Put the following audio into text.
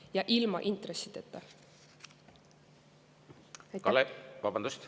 Ja ilma intressideta!